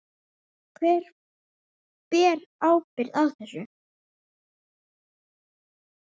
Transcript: Hver ber ábyrgð á þessu?